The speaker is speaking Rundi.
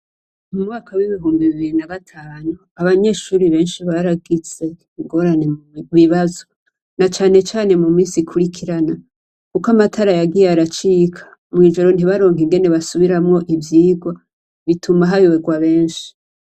Mu mwaka w'ibihumbi bibiri na gatanu, abanyeshuri benshi baragize ingorane mu bibazo, na cane cane mu minsi ikurikirana, kuko amatara yagiye aracika, mw'ijoro ntibaronke ingene basubiramwo ivyigwa, bituma hayoberwa benshi.